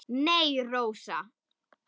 Nei, Rósa.